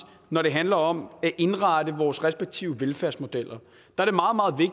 når det handler om at indrette vores respektive velfærdsmodeller